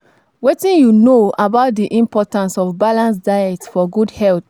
Wetin you know about di importance of balanced diet for good health?